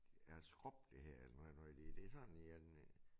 Er skrub det hedder eller nu er nu er lige det sådan en